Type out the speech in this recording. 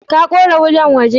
Ka kore kudan waje?